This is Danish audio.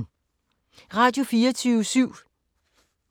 Radio24syv